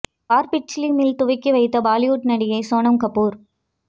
பார்பிட்ச் லி மில் துவக்கி வைத்த பாலிவுட் நடிகை சோனம் கபூர்